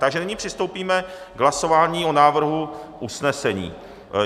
Takže nyní přistoupíme k hlasování o návrhu usnesení.